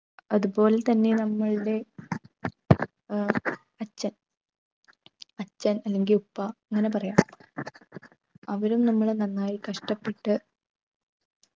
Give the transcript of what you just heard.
അതുപോലെ തന്നെ നമ്മളുടെ ഏർ അച്ഛൻ അച്ഛൻ അല്ലെങ്കിൽ ഉപ്പ എന്നാണ് പറയാ അവരും നമ്മളെ നന്നായി കഷ്ടപ്പെട്ട്